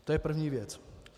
To je první věc.